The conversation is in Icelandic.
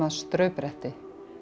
straubretti